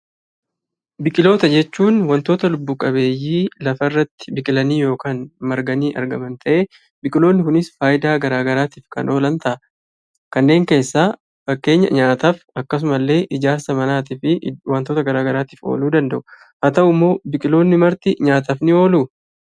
Biqilootaa jechuun waantota lubbu qabeeyyii biqilanii lafa irratti marganii argaman ta'ee biqiloonni kunis fayidaa garaagaraatiif kan oolan ta'a. Kanneen keessaas nyaataaf akkasumas ijaarsa manaatii fi waantota garaagaraatiif ooluu danda'u. Haa ta'uyyuu malee biqiltoonni marti nyaataaf ni ooluu?